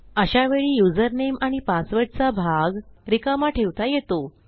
अशावेळी युझरनेम आणि पासवर्ड चा भाग रिकामा ठेवता येतो